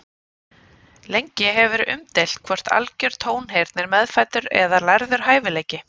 Lengi hefur verið umdeilt hvort algjör tónheyrn er meðfæddur eða lærður hæfileiki.